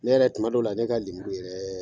Ne yɛrɛ tua dɔw la , ne ka lemuru yɛrɛ